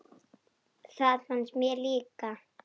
Það fannst mér líka.